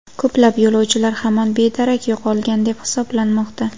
Ko‘plab yo‘lovchilar hamon bedarak yo‘qolgan deb hisoblanmoqda.